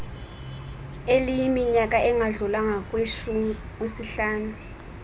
eliyiminyaka engadlulanga kwisihlanu